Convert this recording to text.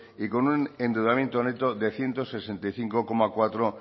y con un endeudamiento neto de ciento sesenta y cinco coma cuatro